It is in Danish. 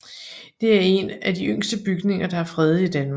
Det er en af de yngste bygninger der er fredet i Danmark